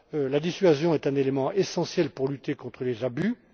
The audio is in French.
La dissuasion est un élément essentiel pour lutter contre les abus.